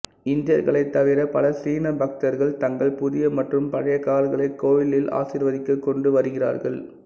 இந்தியர்களைத் தவிர பல சீன பக்தர்கள் தங்கள் புதிய மற்றும் பழைய கார்களை கோயிலில் ஆசீர்வதிக்க கொண்டு வருகிறார்கள்